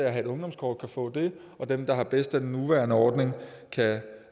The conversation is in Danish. at have et ungdomskort kan få det og dem der har det bedst med den nuværende ordning kan